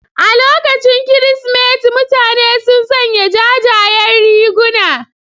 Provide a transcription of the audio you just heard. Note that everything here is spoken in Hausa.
A lokacin Kirsimeti mutane sun sanya jajayen riguna.